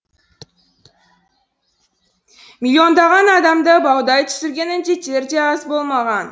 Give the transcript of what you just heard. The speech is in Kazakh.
миллиондаған адамды баудай түсірген індеттер де аз болмаған